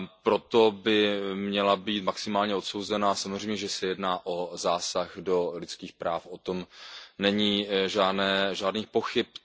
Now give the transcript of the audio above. Proto by měla být maximálně odsouzena, samozřejmě že se jedná o zásah do lidských práv, o tom není žádných pochyb.